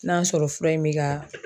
N'a y'a sɔrɔ fura in mi ka